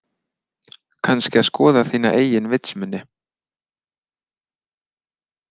Kannski að skoða þína eigin vitsmuni.